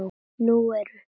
Nú eru